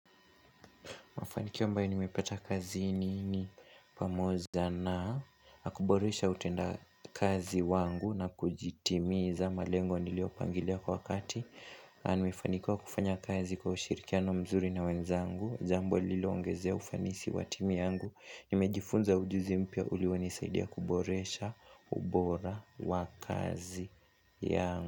Mafanikio ambae nimepeta kazini ni pamoja na kuboresha utenda kazi wangu na kujitimiza malengo nilio pangilia kwa wakati. Na nimefanikiwa kufanya kazi kwa ushirikiano mzuri na wenzangu. Jambo lililo ongezea ufanisi wa timu yangu. Nimejifunza ujuzi mpya ulio ni saidia kuboresha ubora wa kazi yangu.